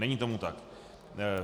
Není tomu tak.